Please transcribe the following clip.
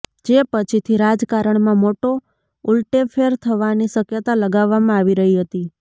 જે પછીથી રાજકારણમાં મોટો ઉલટેફેર થવાની શક્યતા લગાવવામાં આવી રહી હતી